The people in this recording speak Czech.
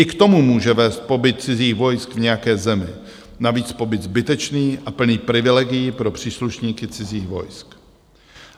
I k tomu může vést pobyt cizích vojsk v nějaké zemi, navíc pobyt zbytečný a plný privilegií pro příslušníky cizích vojsk.